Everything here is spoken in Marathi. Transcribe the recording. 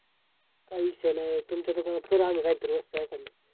काय विषय नाही तुमच्या दुकानात करू आम्ही वस्तू हाय का नाही